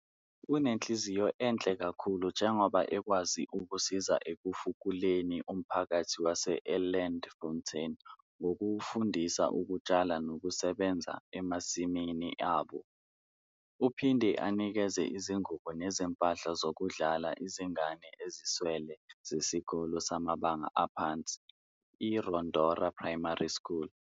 Unenhlinziyo enhle kakhulu njengoba ekwazi ukusiza ekufukuleni umphakathi wase Elandfontein ngokuwufundisa ukutshala nokusebenza emasimini abo. Uphinde anikeze izingubo nezimpahla zokudlala izingane eziswele zesikole samabanga aphansi i-Rodora Primary School.